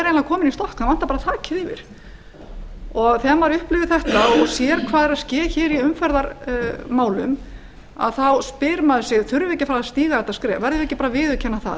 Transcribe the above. bara þakið yfir þegar maður upplifir þetta og sér hvað er að ske hér í umferðarmálum þá spyr maður sig þurfum við ekki að fara að stíga þetta skref verðum við ekki bara að viðurkenna það